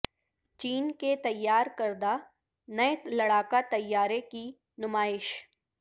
چین کے تیار کردہ نئے لڑاکا طیارے کی نمائش